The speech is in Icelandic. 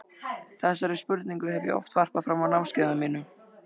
Þessari spurningu hef ég oft varpað fram á námskeiðunum mínum.